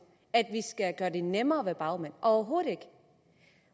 at vi skal gøre det nemmere at være bagmand overhovedet ikke